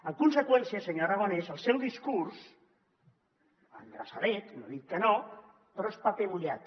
en conseqüència senyor aragonès el seu discurs endreçadet no dic que no però és paper mullat